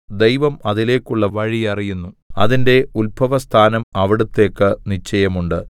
ദൈവം അതിലേക്കുള്ള വഴി അറിയുന്നു അതിന്റെ ഉത്ഭവസ്ഥാനം അവിടുത്തേക്ക് നിശ്ചയമുണ്ട്